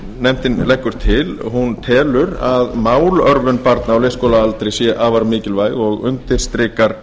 nefndin leggur til hún telur að málörvun barna á leikskólaaldri sé afar mikilvæg og undirstrikar